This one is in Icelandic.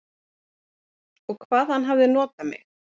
Og hvað hann hafði notað mig.